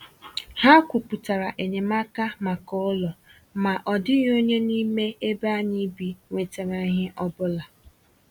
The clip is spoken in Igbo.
Ha kwùpụtara enyemaka maka ụlọ, ma ọ dịghị onye n’ime ebe anyị bi nwetàrà ihe ọbụla.